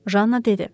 Janna dedi.